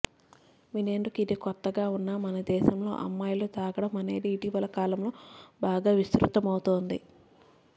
వినేందుకు ఇది కొత్తగా ఉన్నా మనదేశంలో అమ్మాయిలు తాగడం అనేది ఇటీవల కాలంలో బాగా విస్తృతమవుతోంది